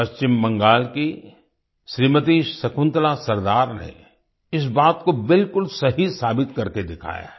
पश्चिम बंगाल की श्रीमती शकुंतला सरदार ने इस बात को बिल्कुल सही साबित करके दिखाया है